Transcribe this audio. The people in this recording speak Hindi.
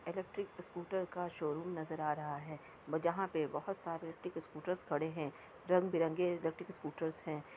इलेक्ट्रिक स्कूटर का शोरूम नजर आ रहा है जहां पे बहुत सारे इलेक्ट्रिक स्कूटरस खड़े हैं रंग-बिरंगे इलेक्ट्रिक स्कूटरस हैं।